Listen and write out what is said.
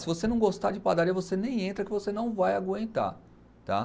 Se você não gostar de padaria, você nem entra que você não vai aguentar, tá?